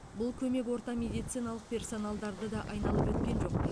бұл көмек орта медициналық персоналдарды да айналып өткен жоқ